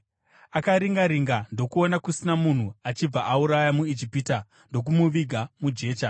Akaringa-ringa ndokuona kusina munhu achibva auraya muIjipita, ndokumuviga mujecha.